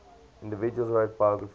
individuals wrote biographies